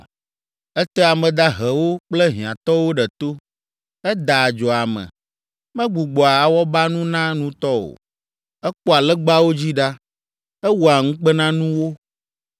“Etea ame dahewo kple hiãtɔwo ɖe to. Edaa adzo ame. Megbugbɔa awɔbanu na nutɔ o. Ekpɔa legbawo dzi ɖa. Ewɔa ŋukpenanuwo.